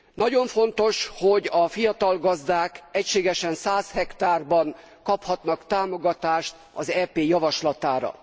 Nagyon fontos, hogy a fiatal gazdák egységesen 100 hektárban kaphatnak támogatást az EP javaslatára.